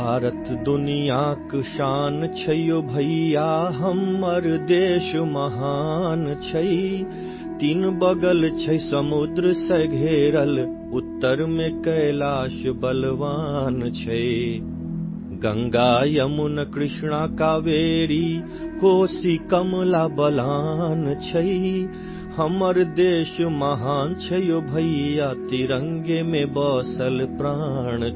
Maithili sound clip 30 seconds Hindi translation